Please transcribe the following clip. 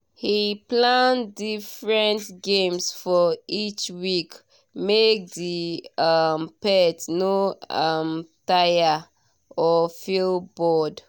he plan different games for each week make the um pet no um tire or feel bored.